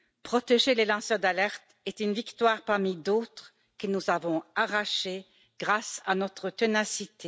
Protéger les lanceurs d'alerte est une victoire parmi d'autres que nous avons arrachée grâce à notre ténacité.